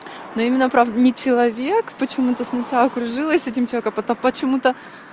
но именно правда не человек почему-то сначала кружилась с этим человеком а почему-то